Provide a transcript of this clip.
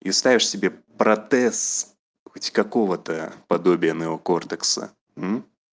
и ставишь себе протез хоть какого-то подобия неокортекса